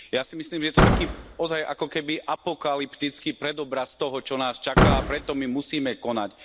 Ja si myslím, že je to taký, naozaj akoby apokalyptický predobraz toho, čo nás čaká, a preto my musíme konať.